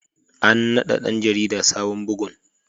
An nada ɗan jarida sabon bugun.